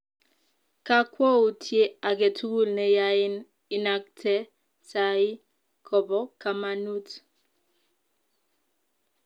Kakwoutiet age tugul ne yain inakte tai kobo kamanut